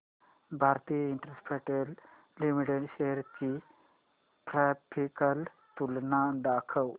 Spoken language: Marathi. भारती इन्फ्राटेल लिमिटेड शेअर्स ची ग्राफिकल तुलना दाखव